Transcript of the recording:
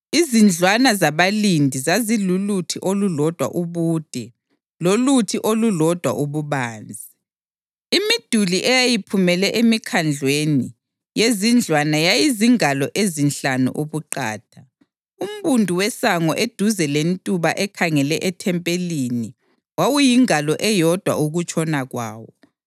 Izindlwana zabalindi zaziluluthi olulodwa ubude loluthi olulodwa ububanzi; imiduli eyayiphumele emikhandlweni yezindlwana yayizingalo ezinhlanu ubuqatha. Umbundu wesango eduze lentuba ekhangele ithempeli wawuyingalo eyodwa ukutshona kwawo.